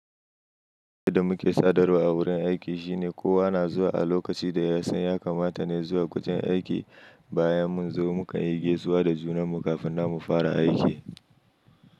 Da muke sadarwa a wurin aiki shine kowa na zuwa a lokacin da ya san ya kamata ne zuwa wajen aiki. Bayan mun zo mu kan yi gaisuwa da junan mu kafin nan mu fara aiki.